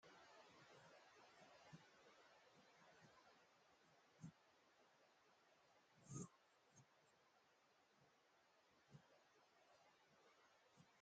Hagaa wogga makiinan caanettada awukko biikko taaassi ulo giddon aybakko arshshoppenne arggoppe ogiya oyqqidi yi aggees. Yiiddikka coo yeenna shaafaa haattaa keenay duge simmidi goggi aggees.